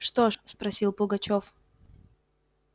что ж спросил пугачёв